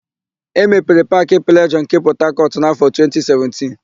E mepere Paakị Plejọọ nke Pọtakọtụ n'áfọ̀ 2017.